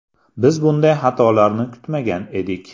Biz bunday xatolarni kutmagan edik.